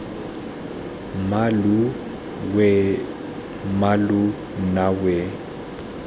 mmalooo weeee mmaloo nna weee